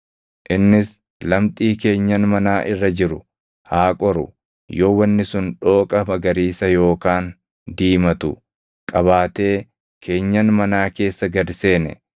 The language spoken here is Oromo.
Innis lamxii keenyan manaa irra jiru haa qoru; yoo wanni sun dhooqa magariisa yookaan diimatu qabaatee keenyan manaa keessa gad seene,